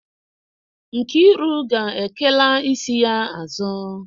Nkiru ga-ekela isi ya azu.